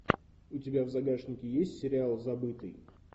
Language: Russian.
у тебя в загашнике есть сериал забытый